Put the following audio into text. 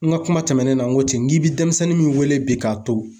N ka kuma tɛmɛnenw na n ko ten n k'i bɛ denmisɛnnin min wele bi k'a to.